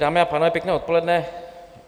Dámy a pánové, pěkné odpoledne.